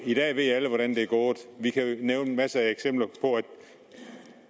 i dag ved alle hvordan det er gået jeg kan nævne masser af eksempler